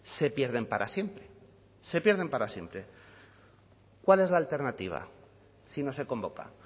se pierden para siempre se pierden para siempre cuál es la alternativa si no se convoca